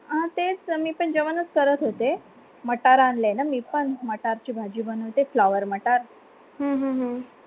अं तेच तर मी पण जेवणस करत होते matar आणले आहे न मी पन मटारची भाजी बनते flower matar